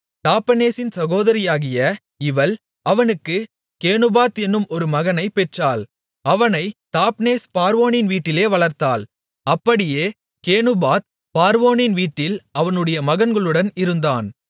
தாப்பெனேசின் சகோதரியாகிய இவள் அவனுக்குக் கேனுபாத் என்னும் ஒரு மகனைப் பெற்றாள் அவனைத் தாப்பெனேஸ் பார்வோனின் வீட்டிலே வளர்த்தாள் அப்படியே கேனுபாத் பார்வோனின் வீட்டில் அவனுடைய மகன்களுடன் இருந்தான்